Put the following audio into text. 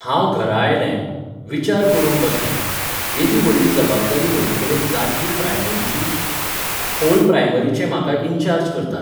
हांव घरा आयलें, विचार करूंक बसलें, येदी व्हडली जबाबदारी म्हजेकडेन जातली प्रायमरीची? होल प्रायमरीचें म्हाका इनचार्ज करतात.